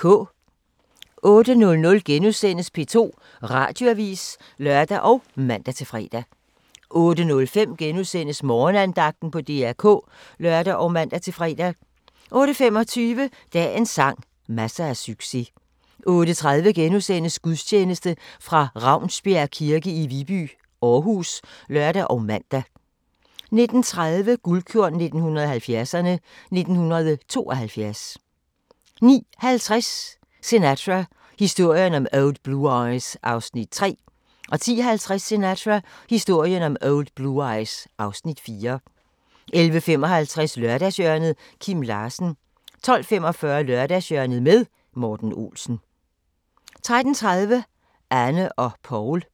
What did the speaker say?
08:00: P2 Radioavis *(lør og man-fre) 08:05: Morgenandagten på DR K *(lør og man-fre) 08:25: Dagens sang: Masser af succes 08:30: Gudstjeneste fra Ravnsbjerg kirke i Viby, Aarhus *(lør og man) 09:30: Guldkorn 1970'erne: 1972 09:50: Sinatra – historien om Old Blue Eyes (Afs. 3) 10:50: Sinatra – historien om Old Blue Eyes (Afs. 4) 11:55: Lørdagshjørnet – Kim Larsen 12:45: Lørdagshjørnet med Morten Olsen 13:30: Anne og Paul